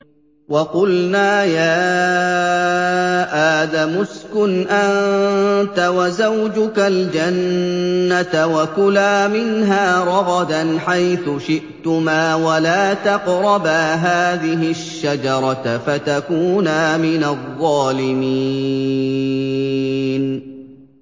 وَقُلْنَا يَا آدَمُ اسْكُنْ أَنتَ وَزَوْجُكَ الْجَنَّةَ وَكُلَا مِنْهَا رَغَدًا حَيْثُ شِئْتُمَا وَلَا تَقْرَبَا هَٰذِهِ الشَّجَرَةَ فَتَكُونَا مِنَ الظَّالِمِينَ